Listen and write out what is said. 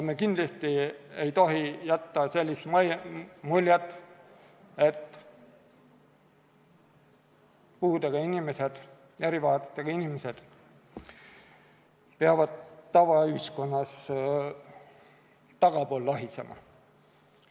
Me kindlasti ei tohi jätta sellist muljet, nagu puudega inimesed, erivajadusega inimesed peaksid tavaühiskonnas tagapool lohisema.